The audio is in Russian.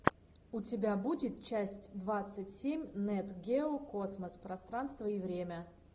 у тебя будет часть двадцать семь нет гео космос пространство и время